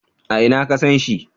A ina ka san shi?